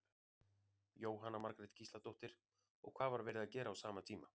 Jóhanna Margrét Gísladóttir: Og hvað var verið að gera á sama tíma?